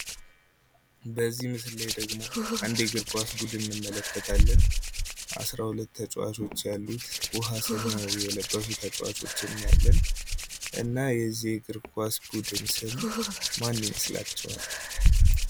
በዚህ ምስል ላይ ደግሞ አንድ የእግር ኳስ ቡድን እንመለከታለን። 12 ተጫዋቾች ያሉት ውሀ ሰማያዊ የልበሱ ተጫዋቾችን እናያለን። እና የዚህ እግር ኳስ ቡድን ስም ማን ይመስላቸዋል።